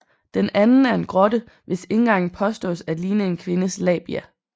Den anden er en grotte hvis indgang påstås at ligne en kvindes labia